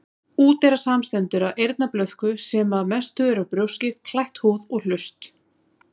Úteyra samanstendur af eyrnablöðku, sem er að mestu út brjóski, klætt húð, og hlust.